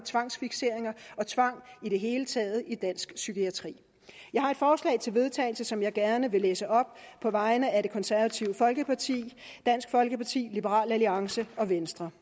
tvangsfikseringer og tvang i det hele taget i dansk psykiatri jeg har et forslag til vedtagelse som jeg gerne vil læse op på vegne af det konservative folkeparti dansk folkeparti liberal alliance og venstre